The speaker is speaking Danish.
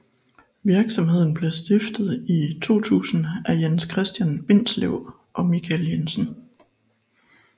Virksomheden blev stiftet i 2000 af Jens Christian Bindslev og Michael Jensen